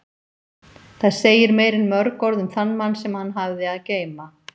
Það segir meira en mörg orð um þann mann sem hann hafði að geyma.